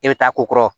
E bɛ taa ko kɔrɔ